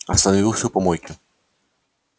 остановился у помойки